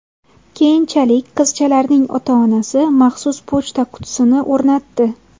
Keyinchalik, qizchalarning ota-onasi maxsus pochta qutisini o‘rnatdi.